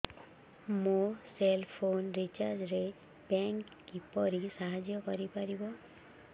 ମୋ cell phone recharge ରେ bank କିପରି ସାହାଯ୍ୟ କରିପାରିବ